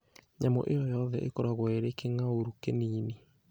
Nyamũ ĩyo yothe ĩkoragwo ĩrĩ kĩng'aurũ kĩnini.